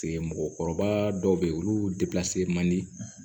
Mɔgɔkɔrɔba dɔw bɛ yen olu man di